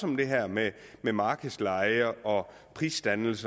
om det her med markedsleje og prisdannelse